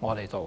我們頭上扣的一頂帽子。